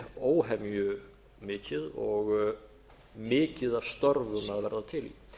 óhemju mikið og mikið af störfum að verða til